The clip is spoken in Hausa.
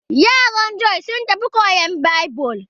Yaran Jon sun tafi koyan Baibil.